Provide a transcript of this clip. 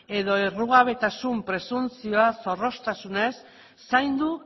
edo errugabetasun presuntzioa zorroztasunez zaindu